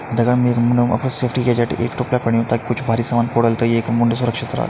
बगल मा एक सेफ्टी एजेंट एक टोपला पड्युं तख कुछ भारी सामान पड़ुल त येकु मुंड सुरक्षित राल।